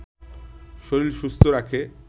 শরীর সুস্থ রাখে